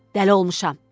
Dəli olmuşam.